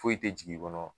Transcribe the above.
Foyi tɛ jigin i kɔnɔ